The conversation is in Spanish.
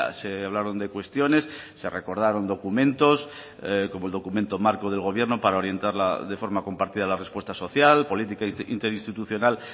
se hablaron de cuestiones se recordaron documentos como el documento marco del gobierno para orientar de forma compartida la respuesta social política interinstitucional